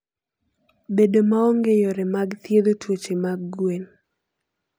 Bedo maonge yore mag thiedho tuoche mag gwen.